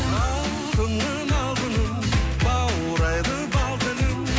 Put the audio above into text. алтыным алтыным баурайды бал тілің